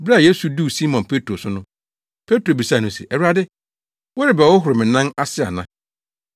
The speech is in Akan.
Bere a Yesu duu Simon Petro so no, Petro bisaa no se. “Awurade, worebɛhohoro me nan ase ana?”